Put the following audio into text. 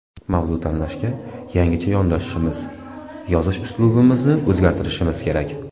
Mavzu tanlashga yangicha yondashishimiz, yozish uslubimizni o‘zgartirishimiz kerak.